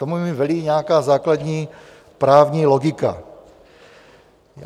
Tomu velí i nějaká základní právní logika.